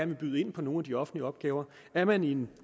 vil byde ind på nogle af de offentlige opgaver er man i en